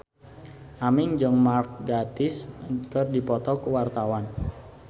Aming jeung Mark Gatiss keur dipoto ku wartawan